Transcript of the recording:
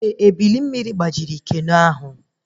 Ee, eburu mmiri gbajiri keno ahụ